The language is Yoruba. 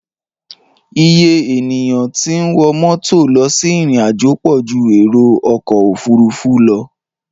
Iye ènìyàn tí ń wọ mọ́tò lọ sí ìrìnàjò pọ̀ ju èrò ọkọ̀ òfuurufú lọ.